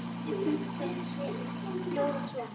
Þessir punktar hljóða svona